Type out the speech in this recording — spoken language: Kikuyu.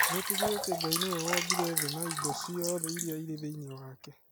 Metĩkĩtie atĩ Ngai nĩwe wombire thĩ na indo ciothe iria irĩ thĩinĩ wake.